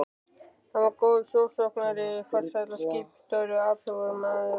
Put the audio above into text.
Hann var góður sjósókn- ari, farsæll skipstjóri og athugull maður.